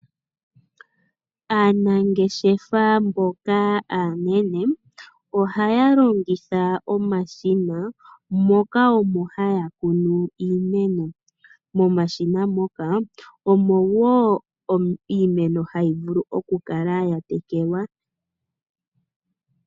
Aanageshefa mboka aanene ohaya longitha omashina moka omo haya kunu iimeno, momashina moka omo wo iimeno hayivulu okukala yatekelwa.